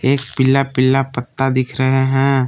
एक पीला पीला पत्ता दिख रहे हैं।